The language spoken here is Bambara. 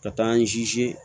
Ka taa an sinsin